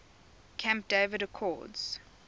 camp david accords